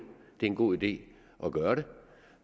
er en god idé at gøre det